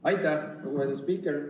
Aitäh, lugupeetud spiiker!